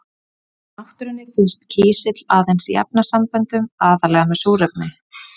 Í náttúrunni finnst kísill aðeins í efnasamböndum, aðallega með súrefni.